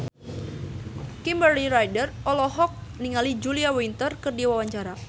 Kimberly Ryder olohok ningali Julia Winter keur diwawancara